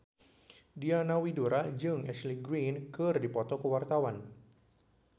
Diana Widoera jeung Ashley Greene keur dipoto ku wartawan